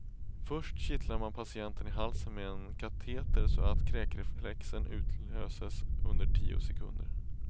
Först kittlar man patienten i halsen med en kateter så att kräkreflexen utlöses under tio sekunder.